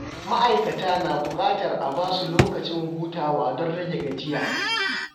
Ma’aikata na buƙatar a ba su lokacin hutawa don rage gajiya.